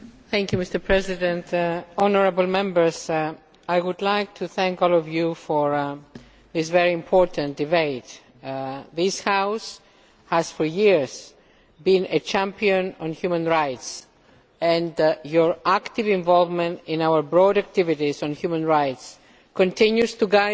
Mr President, honourable Members, I would like to thank all of you for this very important debate. This House has for years been a champion of human rights and your active involvement in our broad activities on human rights continues to guide us